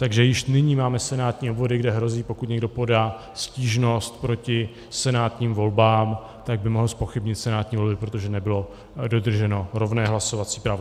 Takže již nyní máme senátní obvody, kde hrozí, pokud někdo podá stížnost proti senátním volbám, tak by mohl zpochybnit senátní volby, protože nebylo dodrženo rovné hlasovací právo.